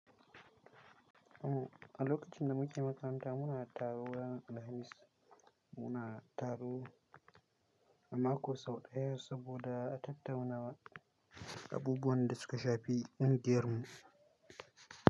Umm, a lokacin da muke makaranta muna taro ran Alhamis, muna taro amako sau ɗaya saboda a tattauna abubuwan da suka shafi kungiyarmu.